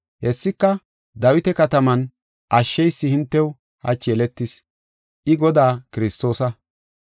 Hessika, Dawita kataman ashsheysi hintew hachi yeletis. I Godaa Kiristoosa.